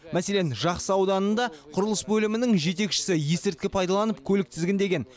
мәселен жақсы ауданында құрылыс бөлімінің жетекшісі есірткі пайдаланып көлік тізгіндеген